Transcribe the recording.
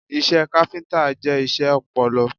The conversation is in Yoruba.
Iṣẹ́ káfíntà jẹ́ iṣẹ́ ọpọlọ.